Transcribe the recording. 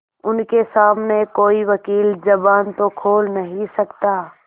उनके सामने कोई वकील जबान तो खोल नहीं सकता